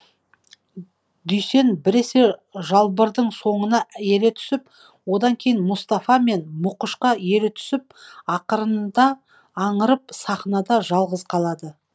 дүйсен біресе жалбырдың соңына ере түсіп одан кейін мұстафа мен мұқышқа ере түсіп ақырында аңырып сахнада жалыз қалады